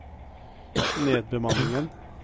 nedbemanningen